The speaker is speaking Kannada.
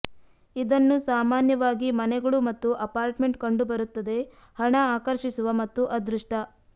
ಇದನ್ನು ಸಾಮಾನ್ಯವಾಗಿ ಮನೆಗಳು ಮತ್ತು ಅಪಾರ್ಟ್ಮೆಂಟ್ ಕಂಡುಬರುತ್ತದೆ ಹಣ ಆಕರ್ಷಿಸುವ ಮತ್ತು ಅದೃಷ್ಟ